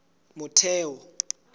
motheo